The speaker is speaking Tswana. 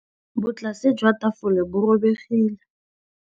Botlasê jwa tafole bo robegile.